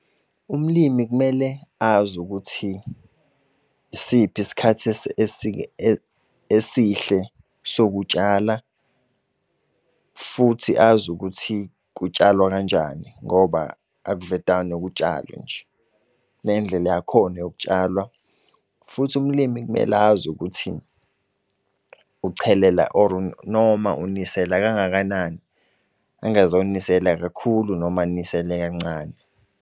Umlimi kumele azi ukuthi yisiphi isikhathi esihle sokutshala, futhi azi ukuthi kutsalwa kanjani ngoba akuvedane kutshalwe nje, kunendlela yakhona yokutshalwa. Futhi ulimi kumele azi ukuthi ucelela or noma unisela kangakanani, angazo nisela kakhulu noma anisele kancane.